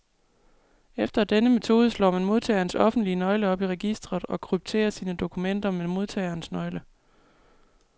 Efter denne metode slår man modtagerens offentlige nøgle op i registret, og krypterer sine dokumenter med modtagerens nøgle.